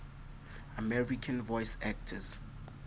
american voice actors